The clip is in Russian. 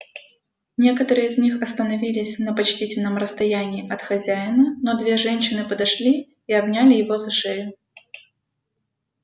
некоторые из них остановились на почтительном расстоянии от хозяина но две женщины подошли и обняли его за шею